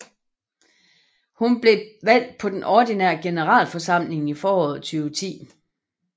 Hun var blevet valgt på den ordinære generalforsamling i foråret 2010